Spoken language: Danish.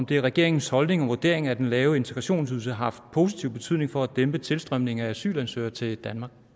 det er regeringens holdning og vurdering at den lave integrationsydelse har haft positiv betydning for at dæmpe tilstrømningen af asylansøgere til